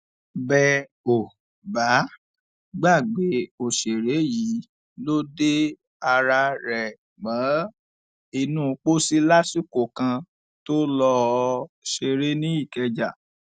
bẹ ò bá gbàgbé òṣèré yìí ló de ara rẹ mọ inú pósí lásìkò kan tó lọọ ṣeré ní ìkẹjà